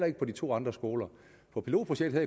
ikke på de to andre skoler på pilotprojektet